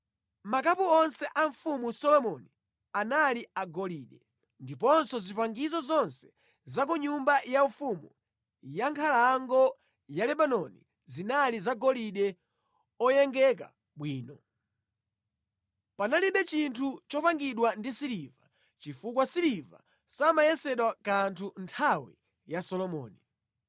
Zikho zonse za mfumu Solomoni zinali zagolide, ndiponso zipangizo zonse za ku nyumba yaufumu ya Nkhalango ya Lebanoni zinali zagolide oyengeka bwino. Panalibe chinthu chopangidwa ndi siliva, chifukwa siliva samayesedwa kanthu mʼnthawi ya Solomoni.